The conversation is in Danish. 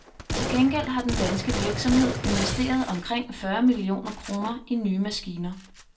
Til gengæld har den danske virksomhed investeret omkring fyrre millioner kroner i nye maskiner.